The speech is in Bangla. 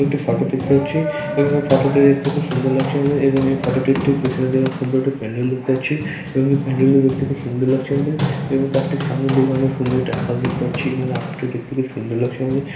একটি ফটো দেখতে পাচ্ছি | এবং ফটো টি দেখতে খুব সুন্দর লাগছে আমাদের | এবং এই ফটো টির ঠিক পেছনের দিকে আমরা সুন্দর একটা প্যান্ডেল দেখতে পাচ্ছি | এবং এই প্যান্ডেল টি দেখতে খুব সুন্দর লাগছে আমাদের | এবং তার ঠিক সামনের দিকে আমাদের সুন্দর একটা আকাশ দেখতে পাচ্ছি এবং আকাশটি দেখতে খুব সুন্দর লাগছে আমাদের।